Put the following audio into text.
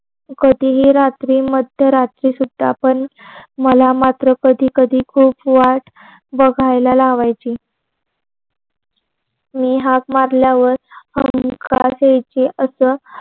कधीही रात्री मद्य रात्री तीते आपण मला मात्र कधी कधी खूप वाट बगयला लावायची. मी हाक मारल्यावर हुंकार द्यायची. अस